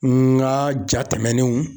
N ka ja tɛmɛnenw.